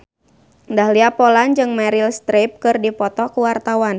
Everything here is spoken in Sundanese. Dahlia Poland jeung Meryl Streep keur dipoto ku wartawan